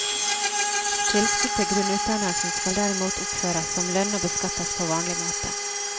Tilskudd til grunnutdannelsen skal derimot oppføres som lønn og beskattes på vanlig måte.